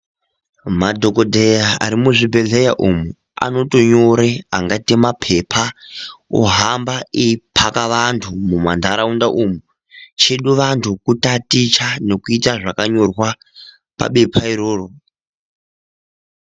Madhokodheya ari muzvibhedhleya umo, anotonyore angaite maphepha, ohamba eiphaka vantu mumantharaunda umu. Chedu vantu kutaticha nekuita zvakanyorwa pabepha iro.